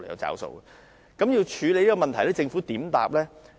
在處理這問題上，政府的答覆為何？